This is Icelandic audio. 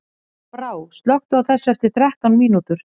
Brá, slökktu á þessu eftir þrettán mínútur.